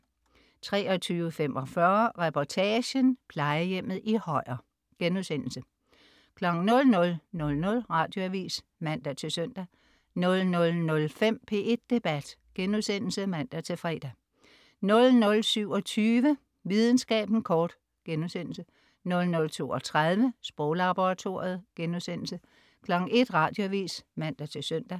23.45 Reportagen: Plejehjemmet i Højer* 00.00 Radioavis (man-søn) 00.05 P1 Debat *(man-fre) 00.27 Videnskaben kort* 00.32 Sproglaboratoriet* 01.00 Radioavis (man-søn)